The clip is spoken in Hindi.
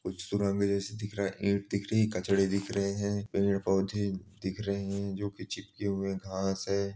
कुछ सुनामी जैसी दिख रहीं है ईंट दिख रही है कचरे दिख रहे हैं पेड़-पौधे दिख रहे हैं जो की चिपके हुए घास हैं।